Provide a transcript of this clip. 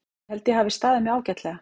Ég held að ég hafi staðið mig ágætlega.